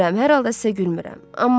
Gülmürəm, hər halda sizə gülmürəm.